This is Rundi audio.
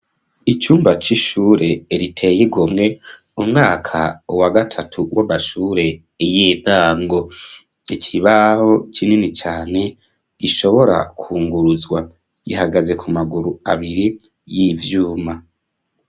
Icumba c'ishure riteye igomwe umwaka wa gatatu w'abashure y'intango ikibaho kinini cane ishobora kunguruzwa gihagaze ku maguru abiri y'ivyuma.